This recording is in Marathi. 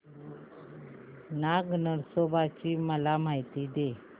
नाग नरसोबा ची मला माहिती दे